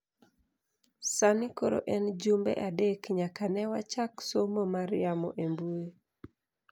Sani koro en jumbe adek nyaka ne wachak somo mar yamo e mbui.